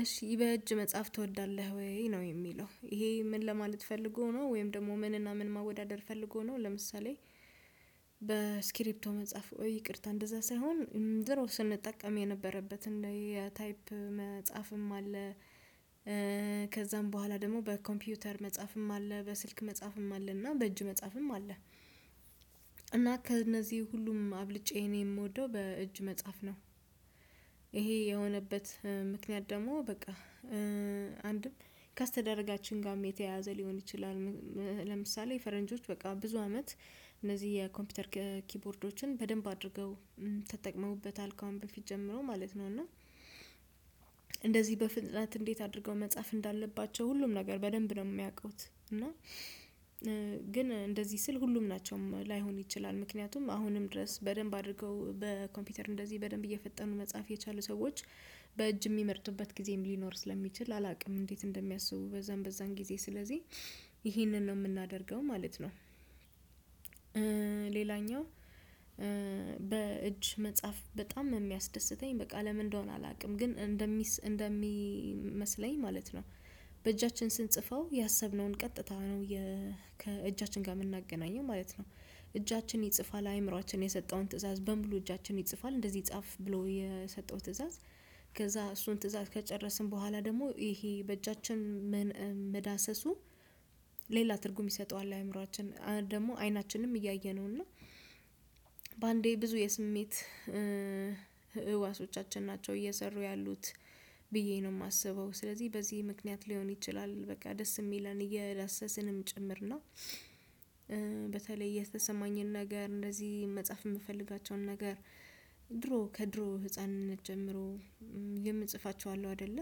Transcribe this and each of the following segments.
እሺ በእጅ መጽሐፍ ትወዳለህ ወይ? ነው የሚለው። ይሄ ምን ለማለት ፈልጎ ነው ወይም ደግሞ ምንና ምን ማወዳደር ፈልጎ ነው ለምሳሌ በስክሪፕቶ መጻፍ ይቅርታ እንደዛ ሳይሆን ድሮ ስንጠቀም የነበረበትዝ የታይፕ መጻፍም አለ። ከዛም በኋላ ደግሞ በኮምፒውተር መጻፍም አለ። በስልክ መጻፍም አለ፤ እና በእጅ መጻፍም አለ። እና ከነዚህ ሁሉም አብልጬ እኔ የምወደው በእጅ መጻፍ ነው። ይሄ የሆነበት ምክንያት ደግሞ በቃ አንድም ከስተዳደጋችን ጋርም የተያያዘ ሊሆን ይችላል። ለምሳሌ ፈረንጆች በቃ ብዙ አመት እነዚህ የኮምፒውተር ኪቦርዶችን በደንብ አድርገው ተጠቅመውበታል ከአሁን በፊት ጀምሮ ማለት ነው። እና እንደዚህ በፍጥነት እንዴት አድርገው መጻፍ እንዳለባቸው ሁሉም ነገር በለንብ ደግሞ የሚያውቁት። እና ግን እንደዚህ ስል ሁሉም ናቸውም ላይሆን ይችላል። ምክንያቱም አሁንም ድረስ በደንብ አድርገው በኮምፒውተር እንደዚህ በደንብ እየፈጠኑ መጽሐፍ የቻሉ ሰዎች በእጅ የሚመርጥበት ጊዜም ሊኖር ስለሚችል አላውቅም እንዴት እንደሚያስቡ በዛም በዛም ጊዜ። ስለዚህ ይሄንን ነው የምናደርገው ማለት ነው። ሌላኛው በእጅ መጻፍ በጣም የሚያስደስተኝ ለምን እንደሆነ አላውቅም። ግን እንደሚመስለኝ ማለት ነው በእጃችን ስንጽፈው ያሰብነውን ቀጥታ ነው ከእጃችን ጋር የምናገናኘው ማለት ነው። እጃችን ይጽፋል አእምሮአችን የሰጠውን ትእዛዝ በሙሉ እጃችን ይጽፋል። እንደዚህ ጻፍ ብሎ የሰጠው ትእዛዝ ከዛ እሱን ትእዛዝ ከጨረስን በኋላ ደግሞ ይሄ በእጃችን መዳሰሱ ሌላ ትርጉም ይሰጠዋል አእምሮአችን ደግሞ አይናችንም እያየ ነው። እና በአንዴ ብዙ የስሜት ህዋሶቻችን ናቸው እየሰሩ ያሉት ብዬ ነው የማስበው። ስለዚህ በዚህ ምክንያት ሊሆን ይችላል በቃ ደስ የሚለን እየዳሰስንም ጭምር ነው። በተለይ የተሰማኝን ነገር እንደዚህ መጻፍ የምፈልጋቸውን ነገር ድሮ ከድሮ ህፃንነት ጀምሮ የምጽፋቸው አሉ አይደለ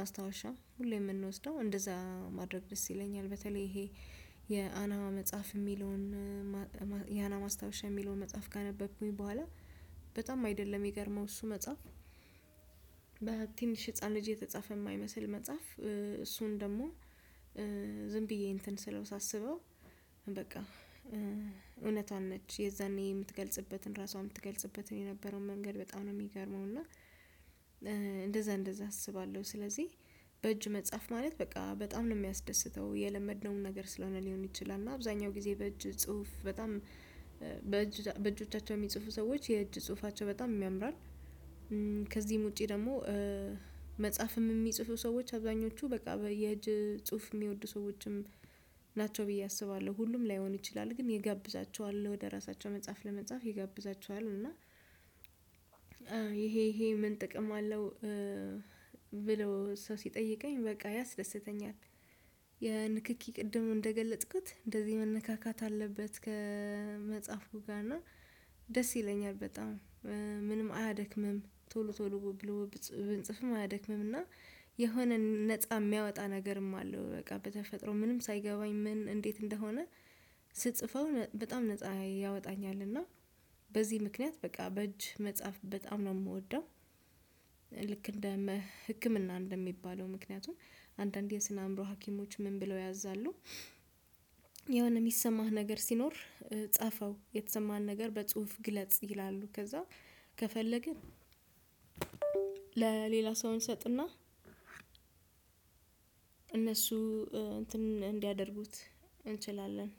ማስታወሻ ሁሌ የምንወስደው እንደዛ ማድረግ ደስ ይለኛል። በተለይ ይሄ የአና መጽሐፍ የሚለውን ያና ማስታወሻ የሚለውን መጽሐፍ ካነበብኩኝ በኋላ በጣም አይደለ ሚገረመው እሱ መጽሐፍ? በትንሽ ህፃን ልጅ የተጻፈ የማይመስል መጽሐፍ እሱን ደግሞ ዝም ብዬ እንትን ስለው ሳስበው በቃ እውነቷን ነች የዛኔ የምትገልጽበትን ራሷ ትገልጽበትን የነበረውን መንገድ በጣም ነው የሚገርመው። እና እንደዛ እንደዛ አስባለሁ። ስለዚህ በእጅ መጻፍ ማለት በቃ በጣም ነው የሚያስደስተው። የለመድነውን ነገር ስለሆነ ሊሆን ይችላል እና አብዛኛው ጊዜ በእጅ ጽሁፍ በጣም በእጅ በእጆቻቸው የሚጽፉ ሰዎች የእጅ ጽሁፋቸው በጣም ያምራል። ከዚህም ውጪ ደግሞ መጽሐፍም የሚጽፉ ሰዎች አብዛኞቹ በቃ በየጅ ጽሁፍ የሚወዱ ሰዎችም ናቸው ብዬ አስባለሁ። ሁሉም ላይሆን ይችላል። ግን ይጋብዛቸዋል ወደ ራሳቸው መጽሐፍ ለመጻፍ ይጋብዛቸዋል። እና ይሄ ይሄ ምን ጥቅም አለው ብለው ሰው ሲጠይቀኝ በቃ ያስደስተኛል። የንክኪ ቅድም እንደገለጥኩት እንደዚህ መነካካት አለበት ከመጽሐፉ ጋር። እና ደስ ይለኛል በጣም። ምንም አያደክምም ቶሎ ቶሎ ብንጽፍም አያደክምም። እና የሆነ ነፃ የሚያወጣ ነገርም አለው። በቃ በተፈጥሮ ምንም ሳይገባኝ ምን እንዴት እንደሆነ ስጽፈው በጣም ነፃ ያወጣኛል። እና በዚህ ምክንያት በቃ በእጅ መጽሐፍ በጣም ነው የምወደው። ልክ እንደ ህክምና እንደሚባለው፤ ምክንያቱም አንዳንዴ የስነ አእምሮ ሀኪሞች ምን ብለው ያዝዛሉ? የሆነ የሚሰማህ ነገር ሲኖር ጻፈው። የተሰማህን ነገር በጽሁፍ ግለጽ ይላሉ። ከዛ ከፈለግን ለሌላ ሰው እንሰጥና እነሱ እንትን እንዲያደርጉት እንችላለን።